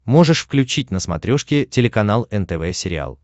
можешь включить на смотрешке телеканал нтв сериал